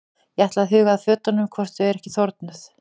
Ég ætla að huga að fötunum hvort þau eru ekki þornuð.